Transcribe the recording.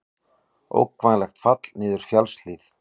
Ógnvænlegt fall niður fjallshlíð